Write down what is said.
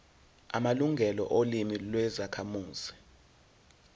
amalungelo olimi lwezakhamuzi